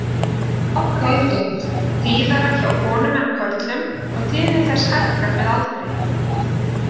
Þetta er nokkuð algengt, tíðara hjá konum en körlum og tíðni þess hækkar með aldri.